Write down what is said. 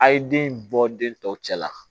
A' ye den bɔ den tɔw cɛ la